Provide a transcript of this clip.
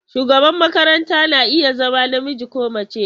Shugaban makaranta na iya zama namiji ko mace.